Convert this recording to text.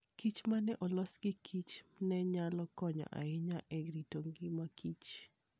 kich ma ne olos gi kich ne nyalo konyo ahinya e rito ngima kich.